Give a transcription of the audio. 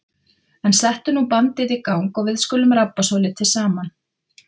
En settu nú bandið í gang og við skulum rabba svolítið saman.